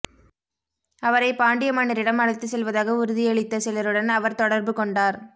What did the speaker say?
அவரை பாண்டிய மன்னரிடம் அழைத்துச் செல்வதாக உறுதியளித்த சிலருடன் அவர் தொடர்பு கொண்டார்